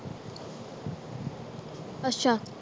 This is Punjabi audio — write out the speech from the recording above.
ਅੱਛਾ